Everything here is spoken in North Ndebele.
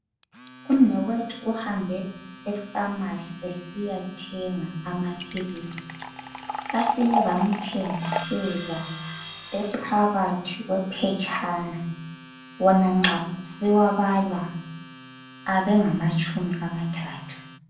Umnewethu uhambe efamasi esiyathenga amaphilisi bafike bamthengisela ephakathi kwe phetshana wona nxa siwabala abengatshumi amathathu.